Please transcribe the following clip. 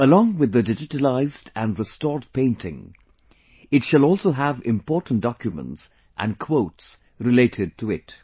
Along with the digitalized and restored painting, it shall also have important documents and quotes related to it